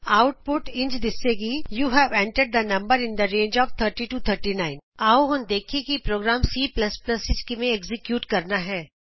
output ਇੰਝ ਦਿਸੇਗੀ you have entered the number in the range of 30 to 39 ਆਉ ਅਸੀਂ ਹੁਣ ਵੇਖੀਏ ਕਿ ਪ੍ਰੋਗਰਾਮ C ਵਿਚ ਕਿਵੇਂ ਐਕਜ਼ੀਕਿਯੂਟ ਕਰਨਾ ਹੈ